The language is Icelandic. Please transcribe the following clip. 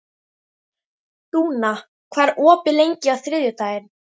Dúna, hvað er opið lengi á þriðjudaginn?